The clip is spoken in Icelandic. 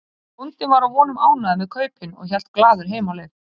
Bóndinn var að vonum ánægður með kaupin og hélt glaður heim á leið.